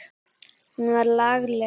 Hún var lagleg.